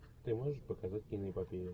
ты можешь показать киноэпопею